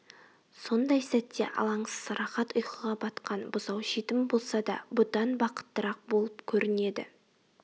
сондай сәтте алаңсыз рахат ұйқыға батқан бұзау жетім болса да бұдан бақыттырақ болып көрінеді